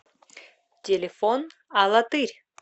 телефон алатырь